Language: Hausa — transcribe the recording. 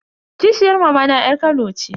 Kishiyar mamana yar kano ce.